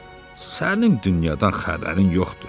Sənin dünyadan xəbərin yoxdur.